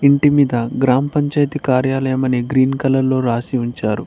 ఇంటి మీద గ్రామపంచాయితీ కార్యాలయం అని గ్రీన్ కలర్ లో రాసి ఉంచారు.